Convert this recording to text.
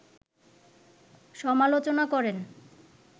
সমালোচনা করেন